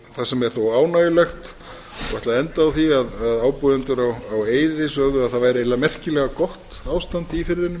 það sem er þó ánægjulegt og ætla að enda á því að ábúendur á eyði sögðu að það væri eiginlega merkilega gott ástand í firðinum